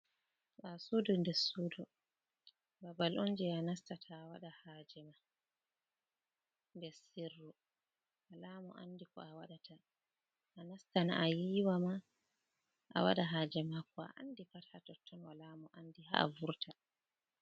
Ɓaawo suudu nɗer suudu, babal on jey a nastata a waɗa haaje nder sirri wala mo anndi ko a waɗata. A nastana a yiwa ma, a waɗa haaje ma ,a waɗa ko a andi pat haa totton, wala mo andi haa a wurta.